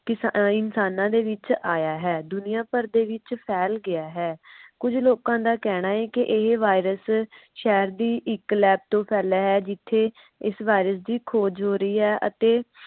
ਕਿਸਇਨਸ਼ਾਨਾ ਵਿਚ ਆਇਆ ਹੈ ਦੁਨੀਆਂ ਭਰ ਦੇ ਵਿਚ ਫੈਲ ਗਿਆ ਹੈ। ਕੁਝ ਲੋਕਾਂ ਦਾ ਕਹਿਣਾ ਹੈ। ਕਿ ਇਹ virus ਸ਼ਹਿਰ ਦੀ ਇਕ lab ਤੋਂ ਫੈਲਾ ਹੈ। ਜਿਥੇ ਇਸ virus ਦੀ ਖੋਜ ਰਹੀ ਹੈ। ਅਤੇ